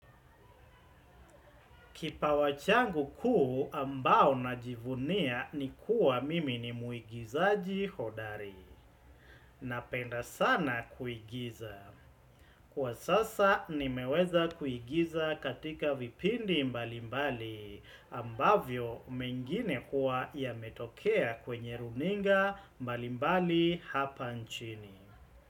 Kipawa changu kuu ambao najivunia ni kuwa mimi ni muigizaji hodari. Napenda sana kuigiza. Kwa sasa nimeweza kuigiza katika vipindi mbalimbali ambavyo mengine huwa yametokea kwenye runinga mbalimbali hapa nchini.